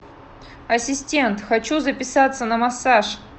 ассистент хочу записаться на массаж